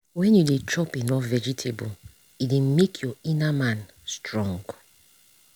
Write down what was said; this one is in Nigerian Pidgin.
when you dey chop enough vegetable e dey make your inner man strong.